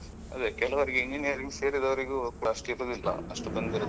ಅದೇ ಕೆಲವರಿಗೆ engineer ಸೇರಿದವರಿಗೂ ಅಷ್ಟು ಇರುದಿಲ್ಲ ಅಷ್ಟು ಬಂದಿರುದಿಲ್ಲ.